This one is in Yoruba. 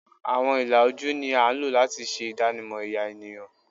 Awọn ila oju ni a lo lati ṣe idanimọ ẹya eniyan